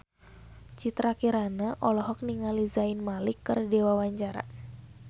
Citra Kirana olohok ningali Zayn Malik keur diwawancara